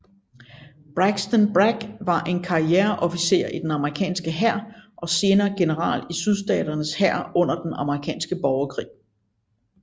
Braxton Bragg var en karriereofficer i den amerikanske hær og senere general i Sydstaternes hær under den amerikanske borgerkrig